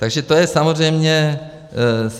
Takže to je samozřejmě cíl.